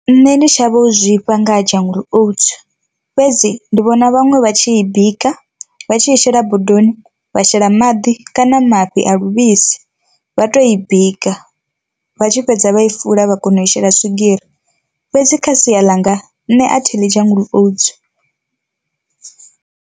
Nne ndi shavha u zwifha nga ha jungle oats, fhedzi ndi vhona vhaṅwe vha tshi i bika vha tshi i shela bodoni wa shela maḓi kana mafhi a luvhisi vha to i bika vha tshi fhedza vha i fula vha kona u i shela swigiri, fhedzi kha sia ḽa nga nṋe a thi ḽi jungle oats.